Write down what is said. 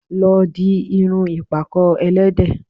Lọ di irun ìpàkọ́ ẹlẹ́de